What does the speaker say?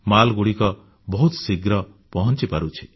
ମାଲ ତଥା ପଣ୍ୟଦ୍ରବ୍ୟ ବହୁତ ଶୀଘ୍ର ପହଞ୍ଚି ପାରୁଛି